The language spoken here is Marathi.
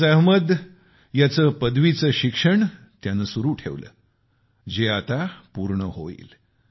फियाज अहमद यांनी पदवीचे शिक्षण त्यांनी सुरु ठेवले होते ते ही आता पूर्ण होईल